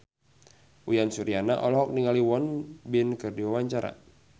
Uyan Suryana olohok ningali Won Bin keur diwawancara